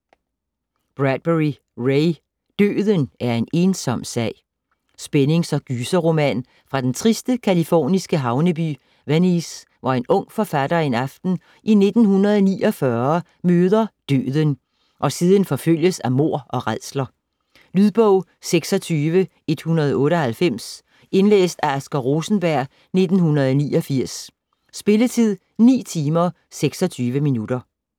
Bradbury, Ray: Døden er en ensom sag Spændings- og gyserroman fra den triste californiske havneby Venice, hvor en ung forfatter en aften i 1949 møder Døden og siden forfølges af mord og rædsler. Lydbog 26198 Indlæst af Asger Rosenberg, 1989. Spilletid: 9 timer, 26 minutter.